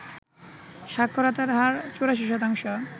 সাক্ষরতার হার ৮৪%